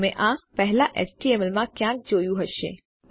તમે આ પહેલાં એચટીએમએલ માં ક્યાંક જોયું હશે